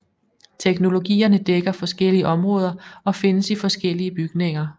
Teknologierne dækker forskellige områder og findes i forskellige bygninger